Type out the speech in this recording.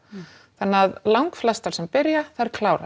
þannig að langflestar sem byrja þær klára